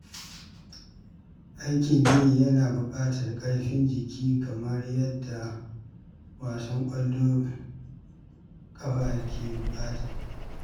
Aikin gini yana buƙatar ƙarfin jiki kamar yadda wasan ƙwallon ƙafa ke buƙata.